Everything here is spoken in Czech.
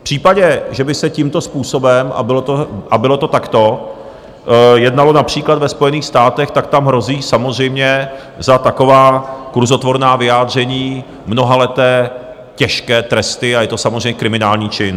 V případě, že by se tímto způsobem, a bylo to takto, jednalo například ve Spojených státech, tak tam hrozí samozřejmě za taková kurzotvorná vyjádření mnohaleté těžké tresty a je to samozřejmě kriminální čin.